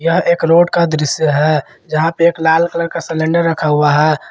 यह एक रोड का दृश्य है जहाँ पे एक लाल कलर का सिलिंडर रखा हुआ है।